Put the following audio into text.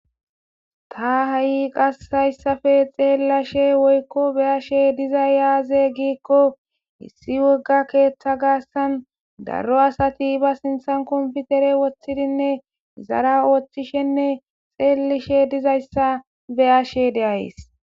Ta ha'i haysappe xelashe woy beyashe dizay aze gikon issi woga keetha garsan daro asati computer sinthan wothid izara othishenne xelishe dizaysa beyashe de'ays.